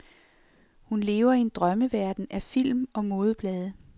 Hun lever i en drømmeverden af film og modeblade.